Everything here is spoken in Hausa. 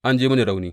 An ji mini rauni.